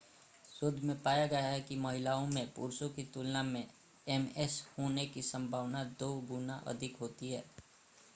शोध में पाया गया है कि महिलाओं में पुरुषों की तुलना में एमएस होने की संभावना दो गुना अधिक होती है